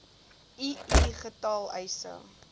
ii getal eise